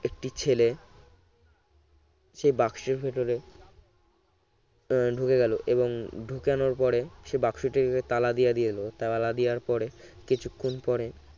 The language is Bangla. একটি ছেলে সে বাক্সের ভিতরে ঢুকে গেল এবং ঢুকানোর পরে সে বাক্সটির উপর তালা দিয়ে দিলো তালা দেওয়ার পরে কিছুক্ষণ পরে